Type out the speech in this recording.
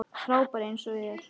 Frábær eins og þér.